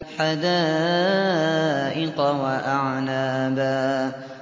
حَدَائِقَ وَأَعْنَابًا